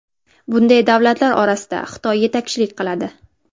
Bunday davlatlar orasida Xitoy yetakchilik qiladi.